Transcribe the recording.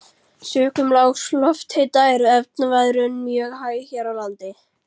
Sökum lágs lofthita er efnaveðrun mjög hæg hér á landi.